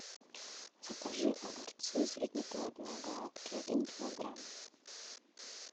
закажи огурцы среднеплодные гладкие один килограмм